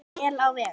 En vel á veg.